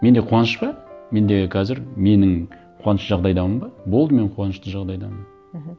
менде қуаныш па менде қазір менің қуанышты жағдайдамын ба болды мен қуанышты жағдайдамын мхм